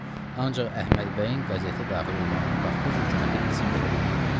Ancaq Əhmədbəyin qəzetə daxil olmağına Qafqaz höküməti izin verə bilmədi.